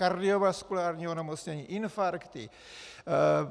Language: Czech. Kardiovaskulární onemocnění, infarkty,